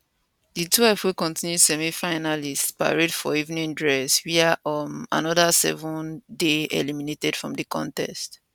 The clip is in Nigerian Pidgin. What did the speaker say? di twelve wey kontinu semifinalists parade for evening dress wia um anoda seven dey eliminated from di contest